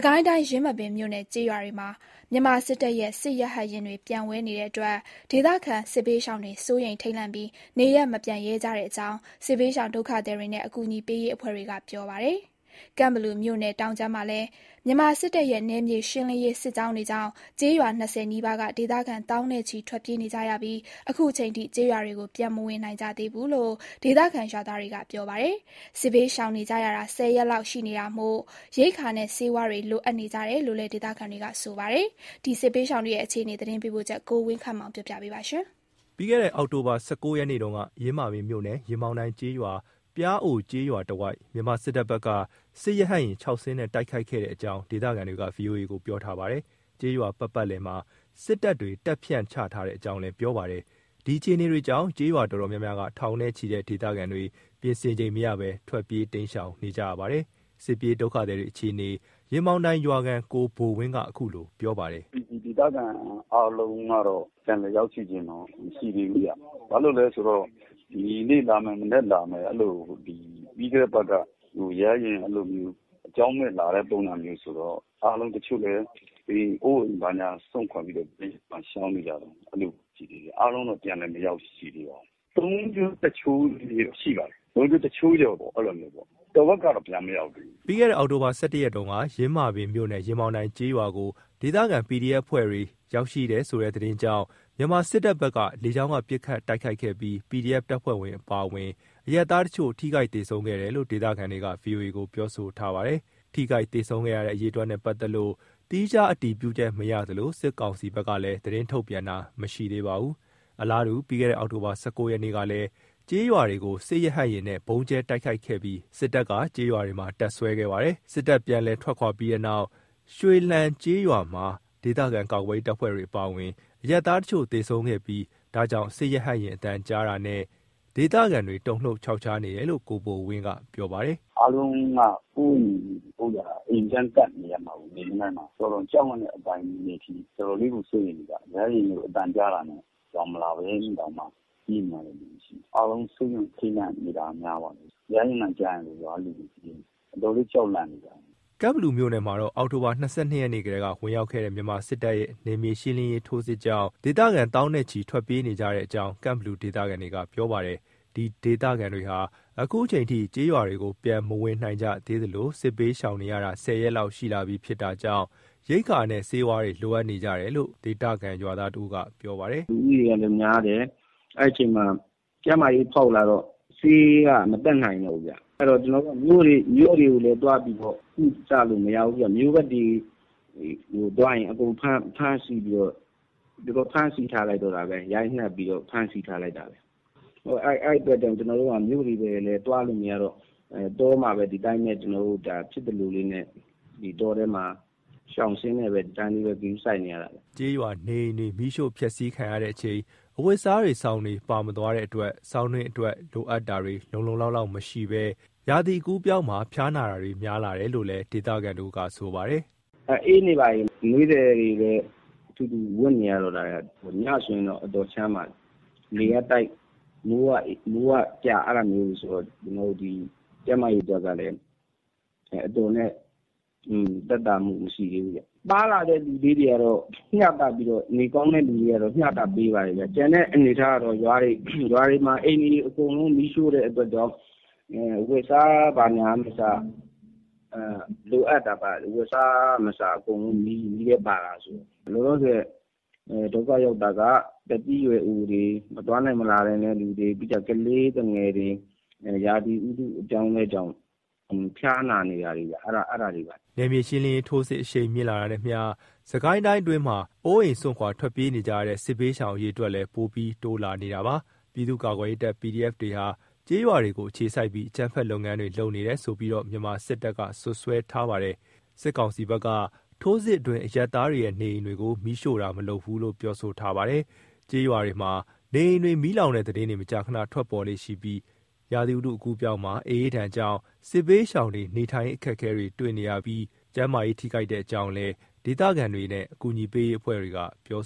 ကိုင်းတိုင်း ယင်းမာပင်မြို့နယ်ထဲကရွာတွေမှာ မြန်မာစစ်တပ်ရဲ့ စစ်ရဟတ်ယာဉ်တွေ ပျံဝဲနေတဲ့အတွက် ဒေသခံ စစ်ဘေးရှောင်တွေစိုးရိမ်ထိတ်လန့်ပြီး နေရပ်မပြန်ရဲကြတဲ့အကြောင်း စစ်ဘေးရှောင်ဒုက္ခသည်တွေနဲ့ အကူအညီပေးရေးအဖွဲ့တွေက ပြောပါတယ်။ ကန့်ကလူမြို့နယ်တောင်ခြမ်းမှာလည်း မြန်မာစစ်တပ်ရဲ့ နယ်မြေရှင်းလင်းရေး စစ်ကြောင်းတွေကြောင့် ကျေးရွာ ၂၀ နီးပါးက ဒေသခံ သောင်းနဲ့ချီ ထွက်ပြေးနေကြရပြီး အခုချိန်ထိ ကျေးရွာတွေကို ပြန်မဝင်နိုင်ကြသေးဘူးလို့ ဒေသခံရွာသားတွေက ပြောပါတယ်။ စစ်ဘေးရှောင်နေကြရတာ ၁၀ ရက် လောက်ရှိလာကြပြီဖြစ်တာကြောင့် ရိက္ခာနဲ့ ဆေးဝါးတွေ လိုအပ်နေကြတယ်လို့လည်း ဒေသခံတွေက ပြောပါတယ်။ ယင်းမာပင်မြို့နဲ့ ကန့်ဘလူမြို့နယ်က စစ်ဘေးရှောင်တွေရဲ့ အခြေအနေ သတင်းပေးပို့ချက်ကို ဝင်းခန့်မောင်က တင်ပြပေးထားပါတယ်။ ပြီးခဲ့တဲ့ အောက်တိုဘာ ၁၉ ရက်နေ့တုန်းက ယင်းမာပင်မြို့နယ် ရင်ပေါင်တိုင်ရွာနဲ့ ပျားအိုရွာတဝိုက် မြန်မာစစ်တပ်ဘက်က စစ်ရဟတ်ယာဉ် ၆ စင်းနဲ့ တိုက်ခိုက်ခဲတဲ့ အကြောင်း ဒေသခံတွေက VOA ကို ပြောထားပါတယ်။ ကျေးရွာပတ်ပတ်လည်မှာ စစ်တပ်တွေ တပ်ဖြန့် ချထားတဲ့အကြောင်းလည်း ပြောပါတယ်။ ဒီအခြေအနေတွေကြောင့် ကျေးရွာအတော်များများက ထောင်နဲ့ချီတဲ့ ဒေသခံတွေ ပြင်ဆင်ချိန်မရဘဲ ထွက်ပြေးတိမ်းရှောင်နေကြရပါတယ်။ စစ်ပြေးဒုက္ခသည်တွေ အခြေအနေ ရင်ပေါင်တိုင်ရွာခံ ကိုဘိုဝင်းက ခုလို ပြောပါတယ်။ “ဒီဒေသခံအားလုံးကတော့ ပြန်လည်ရောက်ရှိတော့ဘူး မရှိသေးဘူး။ ဘာလို့လဲ ဆိုတော့ ဒီနေ့လာမယ်၊ မနက်လာမယ် အဲ့လို ပြီးခဲ့တဲ့အပတ်က ရဟတ်ယာဉ် အဲ့လိုမျိုး လေကြောင်းမယ့်လာတဲ့ပုံစံမျိုးတော့ အားလုံးတချို့လည်း အိုးအိမ်ဘာညာ စွန့်ခွာပြီးတော့ တိမ်းရှောင်နေကြတာ။ အဲ့လိုအခြေအနေ၊ အားလုံးတော့ ပြန်လည်း မရောက်ရှိသေးပါဘူး။ ၃ ချိုး ၁ ချိုးတော့ ရှိပါတယ်။ ၃ ချိုး ၁ ချိုးကျော်ပေါ့ တဝက်ကတော့ ပြန်မရောက်သေးဘူး။” ပြီးတဲ့သြဂုတ် ၁၁ ရက်တုန်းက ယင်းမာပင်မြို့နယ် ရင်ပေါင်တိုင်ကျေးရွာကို ဒေသခံ PDF အဖွဲ့တွေ ရောက်ရှိနေတယ်ဆိုတဲ့ သတင်းကြောင့် မြန်မာစစ်တပ်ဘက်က လေကြောင်းက ပစ်ခတ်တိုက်ခိုက်ခဲ့ပြီး PDF တပ်ဖွဲ့တွေ အပါအဝင် အရပ်သားတချို့ပါ ထိခိုက် သေဆုံးခဲ့တယ်လို့ ဒေသခံတွေက VOA ကို ပြောဆိုထားပါတယ်။ ထိခိုက်သေဆုံးခဲ့တဲ့ အရေအတွက်နဲ့ပတ်သက်လို့ သီးခြားအတည်ပြုချက် မရသလို စစ်ကောင်စီဘက်က သတင်းထုတ်ပြန်တာတော့ မရှိသေးပါဘူး။ အလားတူ ပြီးခဲ့တဲ့ အောက်တိုဘာ ၁၉ ရက်နေ့ကလည်း ကျေးရွာတွေကို စစ်ရဟတ်ယာဉ်နဲ့ ဗုံးကြဲတိုက်ခိုက်ခဲ့ပြီး စစ်တပ်က ကျေးရွာတွေမှာ တပ်စွဲထားခဲ့ပါတယ်။ စစ်တပ် ပြန်လည်ထွက်ခွာပြီးနောက် ရွှေလှန်ကျေးရွာမှာ ဒေသခံကာကွယ်ရေး တပ်ဖွဲ့တွေအပါအဝင် အရပ်သားတချို့ သေဆုံးခဲ့ပြီး ဒါကြောင့် စစ်ရဟတ်ယာဉ်အသံကြားတာနဲ့ ဒေသခံတွေ တုန်လှုပ်ခြောက်ခြားနေကြတယ်လို့ ကိုဘိုဝင်းက ပြောပါတယ်။ “ (ဒေသခံ)အားလုံးက ကိုယ့်အိမ်ကိုယ့်ရွာ အိမ်ပြန်ကပ်နေရမှာကို တော်တော်ကြောက်လန့်တဲ့အပိုင်းတွေအထိ တော်တော်လေးကို စိုးရိမ်နေကြတာ။ ရဟတ်ယာဉ်လို့ အသံကြားတာနဲ့ ရွာမလာရင်တောင်မှ ပြေးနေတဲ့လူတွေရှိတယ်။ အားလုံးစိုးရိမ်ထိတ်လန့်နေတာများပါတယ်။ ရဟတ်ယာဉ်အသံကြားရင် ရွာကလူတွေ အတော်လေးကြောက်လန့်နေကြတာ။” ကန့်ဘလူမြို့နယ်မှာတော့ အောက်တိုဘာလ ၂၂ ရက်နေ့ကတည်းက ဝင်ရောက် လာတဲ့ မြန်မာစစ်တပ်ရဲ့ နယ်မြေရှင်းလင်းရေး ထိုးစစ်ကြောင့် ဒေသခံ သောင်းနဲ့ချီ ထွက်ပြေးနေရတဲ့အကြောင်း ကန့်ဘလူဒေသခံတွေက ပြောပါတယ်။ ဒီဒေသခံတွေဟာ အခုအချိန်ထိ ကျေးရွာတွေကို ပြန်မဝင်နိုင်ကြသေးသလို စစ်ဘေးရှောင်နေကြရတာ ၁၀ ရက်လောက်ရှိလာကြပြီဖြစ်တာကြောင့် ရိက္ခာနဲ့ ဆေးဝါးတွေ လိုအပ်နေကြတယ်လို့ ဒေသခံ ရွာသားတဦးက ပြောပါတယ်။ “လူဦးရေလည်း များတယ်။ အဲ့အချိန်မှာ ကျန်းမာရေး ဖောက်လာကြတော့ ဆေးက မတတ်နိုင်တော့ဘူးဗျ။ အဲ့တော့ ကျနော်တို့က မြို့တွေကိုလည်း သွားပြီးတော့ ကုသလို့မရဘူးဗျ။ မြို့ဘက်တွေသွားရင် အကုန်ဖမ်းဆီးပြီးတော့၊ ရိုက်နှက်ပြီးတော့ အကုန်ဖမ်းဆီးထားလိုက်တော့တာပဲ။ အဲ့ဒီအတွက်ကြောင့် ကျနော်တို့ မြို့တွေဘာတွေလည်း သွားလို့မရတော့ တောမှာပဲ ကျွန်တော်တို့ ဒီတိုင်းပဲဖြစ်သလိုလေးနဲ့ ဒီတောထဲမှာ ရှာဆေးလေးနဲ့ပဲ ဒီလိုပဲ ဂရုစိုက်နေရတာပဲ။” ကျေးရွာနေအိမ်တွေ မီးရှို့ဖျက်ဆီးခံရချိန် အဝတ်အစားတွေ၊ စောင်တွေ ပါသွားတဲ့အတွက် ဆောင်းတွင်းမှာ အအေးဒဏ်ကာကွယ်ဖို့ လုံလုံလောက်လောက်မရှိဘဲ ရာသီအကူးအပြောင်းမှာ ဖျားနာတာတွေ များလာတယ်လို့လည်း ဒေသခံတဦးက ပြောပါတယ်။ “ အေးနေပြီဗျ၊ အနွေးထည်တွေလည်း ထူထူ ဝတ်နေရပြီဗျ။ ညဆိုရင်လည်း အတော်ချမ်းပါတယ်။ လေကတိုက်၊ မိုးကကျ အဲ့လိုမျိုးတွေဆိုတော့ ကျနော်တို့ ကျန်းမာရေးအတွက်ကလည်း အတော်နဲ့ သက်သာမှုမရှိကြသေးဘူးဗျ။ (အနွေးထည်) ပါလာတဲ့သူတွေကတော့ နေကောင်းတဲ့သူတွေကတော့ မျှတပြီး ပေးကြပါတယ်ဗျ။ လောလောဆယ် ဒုက္ခရောက်တာက သက်ကြီးရွယ်အိုတွေ၊ မသွားနိုင်မလာနိုင်တဲ့သူတွေ၊ ကလေးသူငယ်တွေ ရာသီဥတု အပြောင်းအလဲကြောင့် ဖျားနာနေတာတွေပါ။” နယ်မြေရှင်းလင်းရေး ထိုးစစ် အရှိန်မြင့်လာတာနဲ့အမျှ စစ်ကိုင်းအတွင်းမှာ အိုးအိမ် စွန့်ခွာ ထွက်ပြေးနေကြရတဲ့ စစ်ရှောင်အရေအတွက်တွေကလည်း ပိုပြီးတိုးလာနေပါတယ်။ ပြည်သူ့ကာကွယ်ရေးတပ် PDF တွေဟာ ကျေးရွာတွေကို အခြေစိုက်ပြီး အကြမ်းဖက်လုပ်ငန်းတွေ လုပ်နေတယ်ဆိုပြီးတော့လည်း မြန်မာစစ်တပ်က စွပ်စွဲထားပါတယ်။ စစ်ကောင်စီဘက်ကထိုးစစ်အတွင်း အရပ်သားတွေရဲ့နေအိမ်တွေကို မီးရှို့ဖျက်ဆီးတာမလုပ်ဘူးလို့ ပြောဆိုထားပါတယ်။ ကျေးရွာတွေမှာ နေအိမ်တွေ မီးလောင်တဲ့သတင်းတွေ မကြာခဏကြားနေရသလို ရာသီဥတု အကူးအပြောင်းမှာ အအေးဒဏ်ကြောင့် စစ်ဘေးရှောင်တွေ နေထိုင်ရေးအခက်အခဲတွေ တွေ့နေရပြီး ကျန်းမာရေးထိခိုက်နေတဲ့အကြောင်းလည်း ဒေသခံတွေနဲ့ အကူအညီပေးရေးအဖွဲ့တွေက ပြော